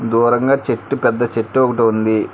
దూరంగా చెట్టు పెద్ద చెట్టు ఒకటి ఉంది.